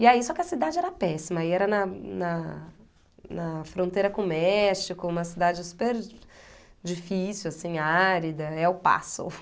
E aí, só que a cidade era péssima, aí era na na na fronteira com o México, uma cidade super difícil, assim, árida, El Paso.